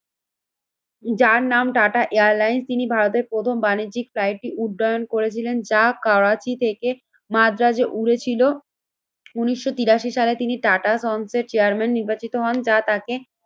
যার নাম টাটা এয়ারলাইন্স তিনি ভারতের প্রথম বাণিজ্যিক ফ্লাইটটি উদ্যয়ন করেছিলেন। যা কারাচি থেকে মাদ্রাজে উড়েছিল উন্নিশশো তিরাশি সালে তিনি টাটা সন্সের চেয়ারম্যান নির্বাচিত হন। যা তাকে